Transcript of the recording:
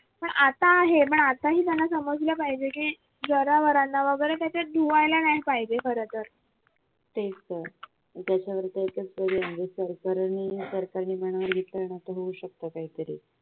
पण आता आहे पण आता ही त्यांना समजलं पाहिजे की जनावरांना वगैरे धुवायला नाही पाहिजे खरं तर